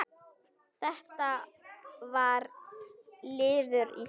Þetta var liður í því.